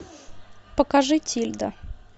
покажи тильда